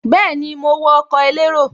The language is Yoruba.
Bẹ́ẹ̀ni, mo wọ ọkọ̀ elérò